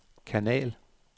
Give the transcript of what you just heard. kanal